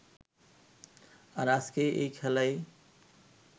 আর আজকের এই খেলাই